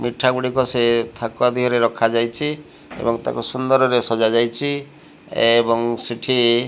ମିଠା ଗୁଡ଼ିକ ସେ ଥାକ ଦିହରେ ରଖାଯାଇଛି ଏବଂ ତାକୁ ସୁନ୍ଦରରେ ସଜାଯାଇଛି ଏବଂ ସେଠି --